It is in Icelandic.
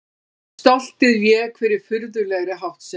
Stoltið vék fyrir furðulegri háttsemi.